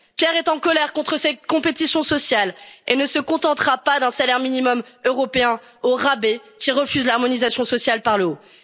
cher. Pierre est en colère contre cette compétition sociale et ne se contentera pas d'un salaire minimum européen au rabais qui refuse l'harmonisation sociale par le